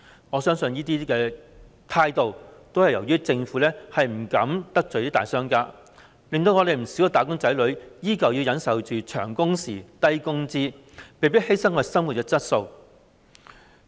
我相信這種情況是由於政府不敢得罪大商家，因而令不少"打工仔女"依舊要忍受長工時、低工資，被迫犧牲生活質素。